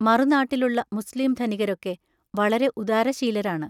മറുനാട്ടിലുള്ള മുസ്ലീം ധനികരൊക്കെ വളരെ ഉദാരശീലരാണ്.